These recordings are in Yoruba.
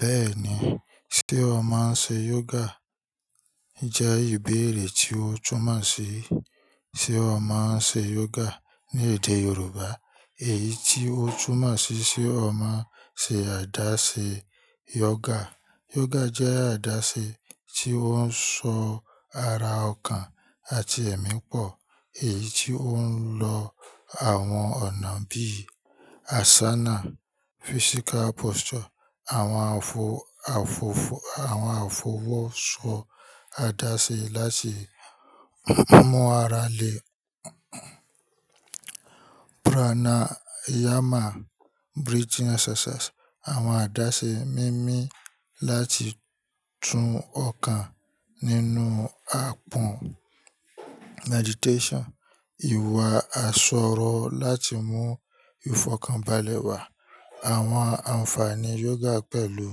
Bẹ́ẹ̀ni, ṣté o máa ń ṣe yoga? Jẹ́ ìbéèrè tí o túmà ṣí ṣté o máa ń ṣe yoga ní èdè Yorùbá. Èyí tí o túmà ṣí ṣé o máa ń ṣe àdáṣè yoga. Yoga jẹ́ àdáṣe tí ó ń sọ ara, ọkàn àti ẹ̀mí pọ̀. Èyí tí ó ń lo àwọn ọ̀nà bí i asana, physical posture, àwọn àfowóṣọ àdáṣe lásé mú ara le, pranayama, àwọn àdáṣe mímì láti tún ọkàn, nínú àpọ́n ìwà aṣọ̀rọ̀ láti mú ìfọkàn balẹ̀ wà. Àwọn àǹfààní yoga pẹ̀lú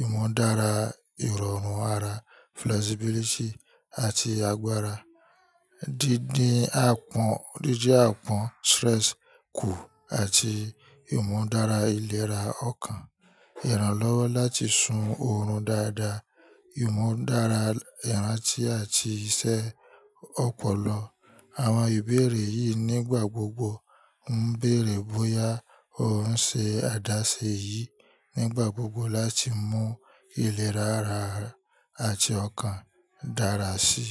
ìmọ̀-dára ìrọ̀rùn ara àti agbára, dídí àpọ́n kù, àti ìmọ̀-dára ìlera ọkàn. Ìrànlọ́wọ́ láti sùn òorun dáadáa, ìmọ̀-dára ìràntí àti iṣẹ́ ọpọlọ. Àwọn ìbéèrè yìí nígbà gbogbo ń bèèrè bóyá o ń ṣe àdáṣe yìí nígbà gbogbo láti mú ìlerá ara àti ọkàn dára sí.